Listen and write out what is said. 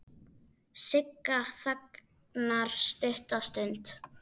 Sigga þagnar stutta stund.